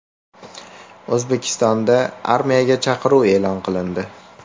O‘zbekistonda armiyaga chaqiruv e’lon qilindi.